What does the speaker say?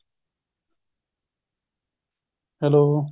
hello